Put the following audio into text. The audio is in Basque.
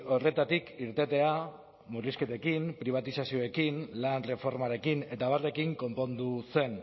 horretatik irtetea murrizketekin pribatizazioekin lan erreformarekin eta abarrekin konpondu zen